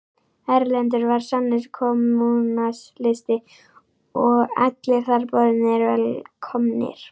Erlendur var sannur kommúnisti og allir þar boðnir og velkomnir.